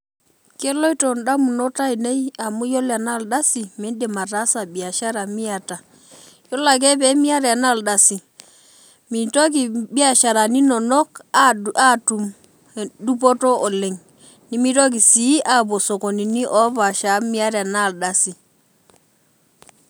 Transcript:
Keloito ndamunot ainei amu yiolo ore duo enardasi midim ataasa biashara miata iyiolo ake tenimiata enardasi mitoki biashara inono atum dupoto oleng nimitoki si apuo sokonini opaasha amu miata enardasi.